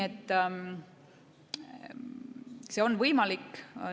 See on võimalik.